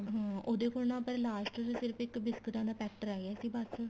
ਹਮ ਉਹਦੇ ਕੋਲ ਨਾ last ਚ ਸਿਰਫ ਇੱਕ ਬਿਸਕਟਾ ਦਾ packet ਰਹਿ ਗਿਆ ਸੀ ਬੱਸ